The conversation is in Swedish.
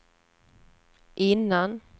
innan